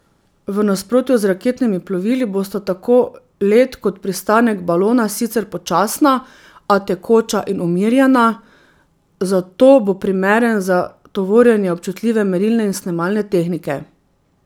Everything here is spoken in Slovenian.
V nasprotju z raketnimi plovili bosta tako let kot pristanek balona sicer počasna, a tekoča in umirjena, zato bo primeren za tovorjenje občutljive merilne in snemalne tehnike.